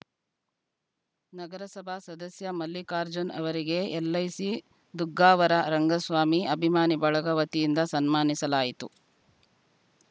ನಗರಸಭಾ ಸದಸ್ಯ ಮಲ್ಲಿಕಾರ್ಜುನ ಅವರಿಗೆ ಎಲ್‌ಐಸಿ ದುಗ್ಗಾವರ ರಂಗಸ್ವಾಮಿ ಅಭಿಮಾನಿ ಬಳಗ ವತಿಯಿಂದ ಸನ್ಮಾನಿಸಲಾಯಿತು